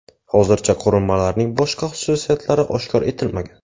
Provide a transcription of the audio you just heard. Hozircha qurilmalarning boshqa xususiyatlari oshkor etilmagan.